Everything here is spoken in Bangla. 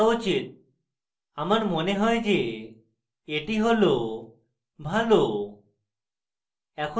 আমার মনে হয় যে এটি ভালো